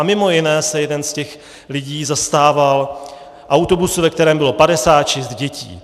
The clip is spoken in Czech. A mimo jiné se jeden z těch lidí zastával autobusu, ve kterém bylo 56 dětí.